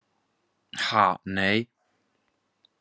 Ha nei.